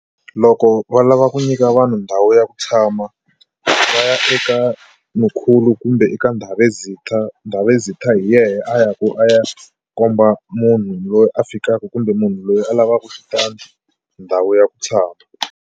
Loko va lava ku nyika vanhu ndhawu ya ku tshama va ya eka mkhulu kumbe eka ndhavezitha. Ndhavezitha hi yena a ya ku a ya komba munhu loyi a fikaka kumbe munhu loyi a lavaka xitandi ndhawu ya ku tshama.